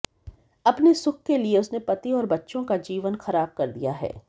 अपने सुख के लिए उसने पति और बच्चों का जीवन खराब कर दिया है